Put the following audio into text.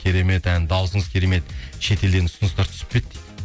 керемет ән дауысыңыз керемет шетелден ұсыныстар түсіп пе еді дейді